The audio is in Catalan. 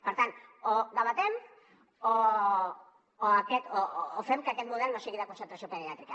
per tant o ho debatem o fem que aquest model no sigui de concentració pediàtrica